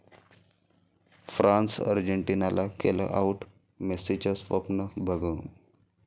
फ्रान्सनं अर्जेंटिनाला केलं 'आऊट', मेस्सीचं स्वप्न भंगलं